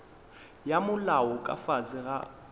ya molao ka fase ga